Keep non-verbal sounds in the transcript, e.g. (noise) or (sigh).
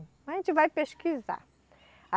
A gente vai pesquisar. (unintelligible)